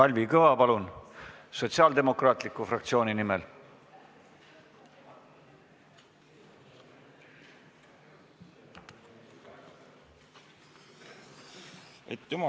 Kalvi Kõva, palun, Sotsiaaldemokraatliku Erakonna fraktsiooni nimel!